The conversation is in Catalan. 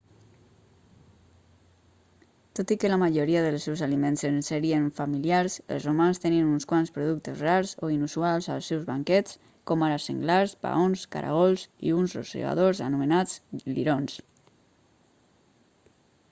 tot i que la majoria dels seus aliments ens serien familiars els romans tenien uns quants productes rars o inusuals als seus banquets com ara senglars paons caragols i uns rosegadors anomenats lirons